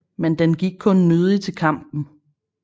Men den gik kun nødig til kampen